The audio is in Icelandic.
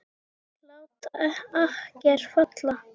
Lát akker falla!